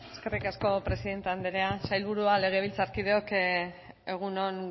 eskerrik asko presidente andrea sailburuak legebiltzarkideok egun on